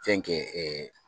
Fɛnkɛ